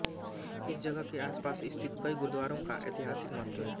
इस जगह के आसपास स्थित कई गुरुद्वारों का ऐतिहासिक महत्व है